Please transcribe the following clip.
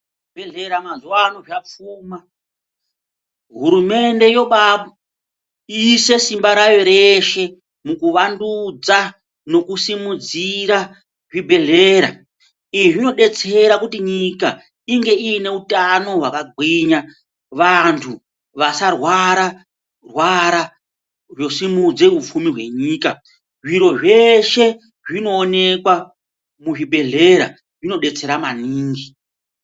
Zvibhehlera mazuwa ano zvapfuma , hurumende yoba yaise simba rayo reshe mukuvandudza nekusimudzira zvibhehlera izvi zvinodetsera kuti nyika inge ineutano hwakagwinya vantu vasarwara-rwara vanosimudze upfumi hwenyika zviro zveshe zvinookwa muzvibhehlera zvinodetsera maningi.